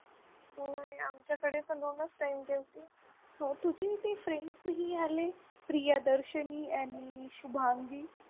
हम्म आणि आमच्याकडे तर दोनच time जेवतील तुझी ते friends नाही आले प्रियदर्शनी आणि शुभांगी